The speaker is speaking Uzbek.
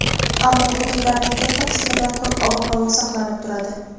ammo hududlarning katta qismida quruq ob-havo saqlanib turadi.